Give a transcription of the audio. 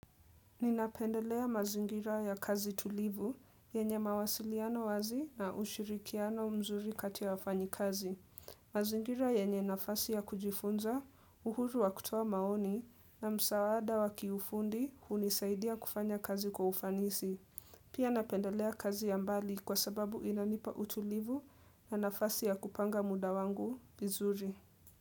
Ninapendelea mazingira ya kazi tulivu yenye mawasiliano wazi na ushirikiano mzuri kati ya wafanyikazi. Mazingira yenye nafasi ya kujifunza, uhuru wa kutoa maoni na msaada wa kiufundi hunisaidia kufanya kazi kwa ufanisi. Pia napendelea kazi ya mbali kwa sababu inanipa utulivu na nafasi ya kupanga muda wangu bizuri.